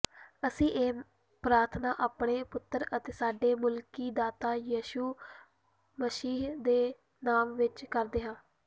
ਅਸੀਂ ਇਹ ਪ੍ਰਾਰਥਨਾ ਆਪਣੇ ਪੁੱਤਰ ਅਤੇ ਸਾਡੇ ਮੁਕਤੀਦਾਤਾ ਯਿਸੂ ਮਸੀਹ ਦੇ ਨਾਮ ਵਿੱਚ ਕਰਦੇ ਹਾਂ